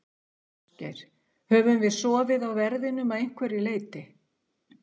Ásgeir: Höfum við sofið á verðinum að einhverju leyti?